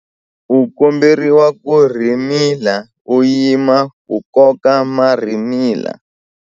U komberiwa ku rhimila u yima ku koka marhimila.